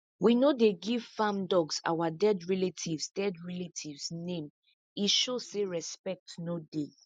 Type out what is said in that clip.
we no dey give farm dogs our dead relatives dead relatives name e show say respect no dey